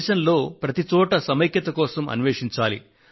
దేశంలో ప్రతి చోట సమైక్యత కోసం అన్వేషించాలి